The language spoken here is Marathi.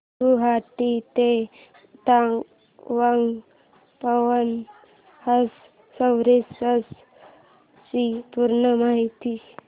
गुवाहाटी ते तवांग पवन हंस सर्विसेस ची पूर्ण माहिती